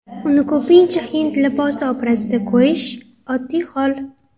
Uni ko‘pincha hind libosi obrazida ko‘rish oddiy hol.